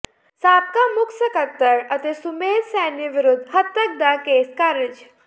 ਸਾਬਕਾ ਮੁੱਖ ਸਕੱਤਰ ਅਤੇ ਸੁਮੇਧ ਸੈਣੀ ਵਿਰੁੱਧ ਹੱਤਕ ਦਾ ਕੇਸ ਖ਼ਾਰਜ